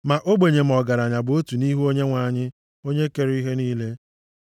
Ma ogbenye ma ọgaranya bụ otu nʼihu Onyenwe anyị onye kere ha niile.